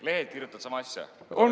Lehed kirjutavad sama asja.